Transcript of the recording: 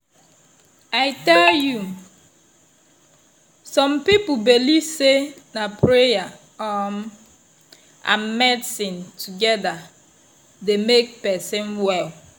i tell you! some people believe say na prayer um and medicine together dey make person well.